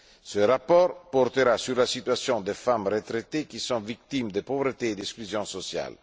Ce rapport portera sur la situation des femmes retraitées qui sont victimes de pauvreté et d'exclusion sociale.